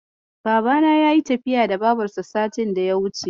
Babana ya yi tafiya da Babarsa satin daya wuce.